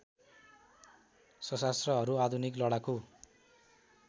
शस्रास्रहरू आधुनिक लडाकू